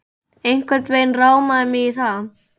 Einhvern veginn rámaði mig í það